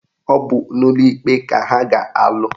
Ọ bụ n'ụlọ ikpe ka ha ga-alụ